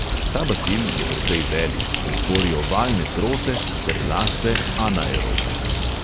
Ta bacil je precej velik in tvori ovalne trose ter raste anaerobno.